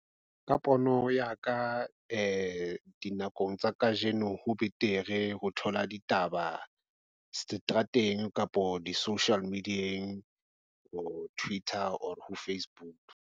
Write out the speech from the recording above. Ka pono ya ka di dinakong tsa kajeno, ho betere ho thola ditaba seterateng kapo di-social media-eng or Twitter or ho Facebook.